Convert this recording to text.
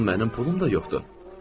Bəs axı mənim pulum da yoxdur.